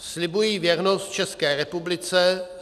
"Slibuji věrnost České republice.